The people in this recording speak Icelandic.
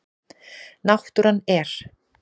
Náttúran er.